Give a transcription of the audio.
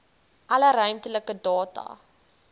alle ruimtelike data